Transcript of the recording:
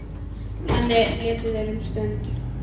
Þannig létu þeir um stund.